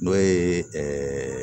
N'o ye